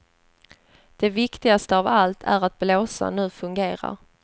Det viktigaste av allt är att blåsan nu fungerar.